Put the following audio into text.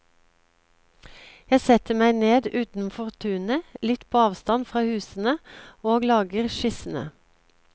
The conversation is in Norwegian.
Jeg setter meg ned utenfor tunet litt på avstand fra husene og lager skissene.